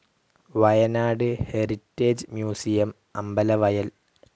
Wayanad heritage museum, Ambalavayal